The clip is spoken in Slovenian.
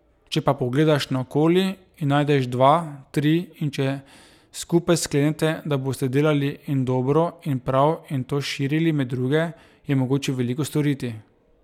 Če pa pogledaš naokoli in najdeš dva, tri, in če skupaj sklenete, da boste delali in dobro in prav in to širili med druge, je mogoče veliko storiti.